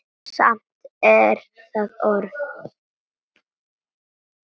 Samt er það orð.